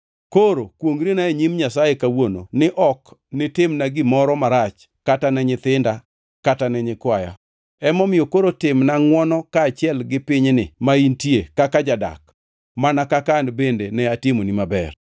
Koro kwongʼrina e nyim Nyasaye kawuono ni ok nitimna gimoro marach kata ne nyithinda kata ne nyikwaya. Emomiyo koro timna ngʼwono kaachiel gi pinyni ma intie kaka jadak mana kaka an bende ne atimoni maber.”